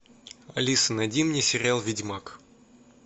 алиса найди мне сериал ведьмак